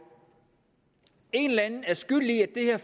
en eller anden er skyld i at det her